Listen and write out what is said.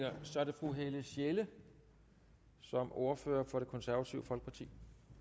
og så er det fru helle sjelle som ordfører for det konservative folkeparti